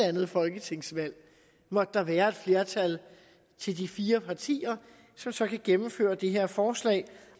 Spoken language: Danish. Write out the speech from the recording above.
andet folketingsvalg måtte der være et flertal til de fire partier som så kan gennemføre det her forslag